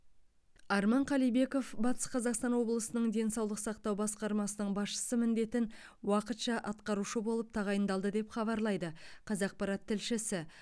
арман қалибеков батыс қазақстан облысының денсаулық сақтау басқармасының басшысы міндетін уақытша атқарушы болып тағайындалды деп хабарлайды қазақпарат тілшісі